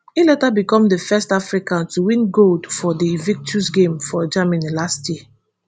e later become di first african to win gold for di invictus games for germany last year